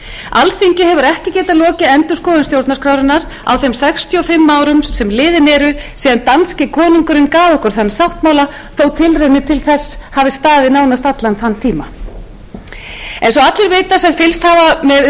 alþingi hefur ekki getað lokið endurskoðun stjórnarskrárinnar á þeim sextíu og fimm árum sem liðin eru síðan danski konungurinn gaf okkur þann sáttmála þótt tilraunir til þess hafi staðið nánast allan þann tíma eins og allir vita sem fylgst hafa með